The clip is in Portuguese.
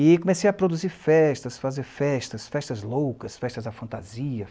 E comecei a produzir festas, fazer festas, festas loucas, festas à fantasia.